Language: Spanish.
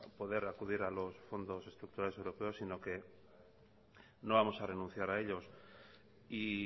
poder acudir a los fondos estructurales europeos sino que no vamos a renunciar a ellos y